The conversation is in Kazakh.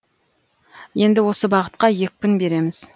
енді осы бағытқа екпін береміз